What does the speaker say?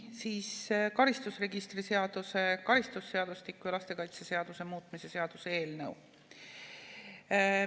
Nii, karistusregistri seaduse, karistusseadustiku ja lastekaitseseaduse muutmise seaduse eelnõu.